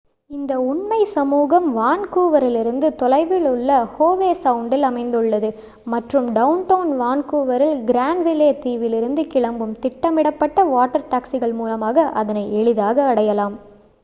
இந்த உண்மை சமூகம் வான்கூவரிலிருந்து தொலைவில் உள்ள ஹோவெ சவுண்டில் அமைந்துள்ளது மற்றும் டவுன்டவுன் வான்கூவரில் கிரான்விலே தீவிலுருந்து கிளம்பும் திட்டமிடப்பட்ட வாட்டர் டாக்சிக்கள் மூலமாக அதனை எளிதாக அடையலாம்